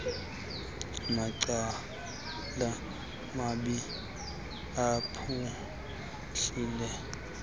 macala mabini aphuhlile